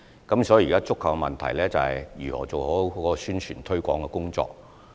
現時觸及的問題，是如何做好宣傳推廣的工作。